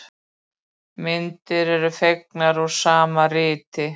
Myndir eru fengnar úr sama riti.